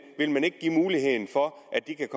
vil man ikke give muligheden for at de kan